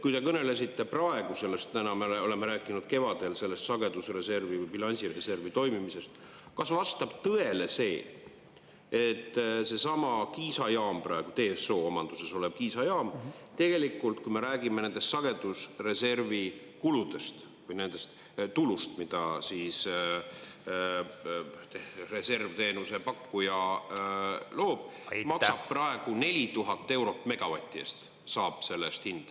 Kui te kõnelesite praegu sellest, me oleme rääkinud kevadel sellest sagedusreservi või bilansireservi toimimisest, kas vastab tõele see, et seesama Kiisa jaam, praegu ... omanduses olev Kiisa jaam, tegelikult, kui me räägime nendest sagedusreservi kuludest või nendest tuludest, mida siis reservteenuse pakkuja loob, maksab praegu 4000 eurot megavati eest?